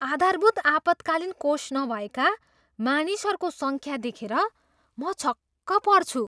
आधारभूत आपतकालीन कोष नभएका मानिसहरूको सङ्ख्या देखेर म छक्क पर्छु।